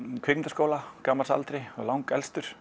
kvikmyndaskóla á gamals aldri